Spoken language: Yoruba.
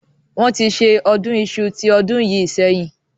Wọn tí ṣe ọdún Iṣu tí ọdún yìí sẹ́yìn.